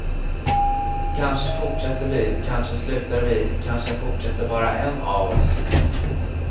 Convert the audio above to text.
Kanske fortsätter vi, kanske slutar vi, kanske fortsätter bara en av oss.